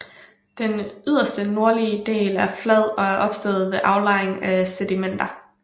Den yderste nordlige del er flad og er opstået ved aflejring af sedimenter